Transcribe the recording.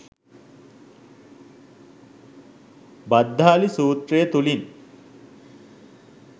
භද්දාලි සූත්‍රය තුළින්